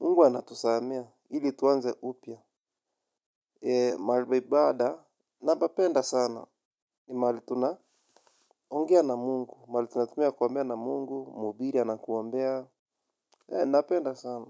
Mungu anatusaamea. Ili tuanze upya. Mahalipaibada, napapenda sana. Ni mahali tuna ongea na Mungu. Mahali tuna tumia kuombea na mungu, mhubiri anakuombea. Napenda sana.